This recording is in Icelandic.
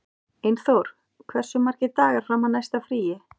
Einþór, hversu margir dagar fram að næsta fríi?